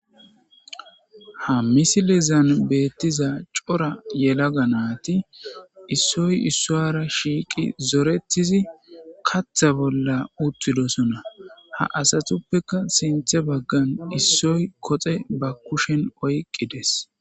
Ha misilezan betiza cora yelaga nati issoy issuwara shiiqi zoretidi katha bolla utididosona ha asatupekka sinthe bagan issoy koxe ba kushen oyqides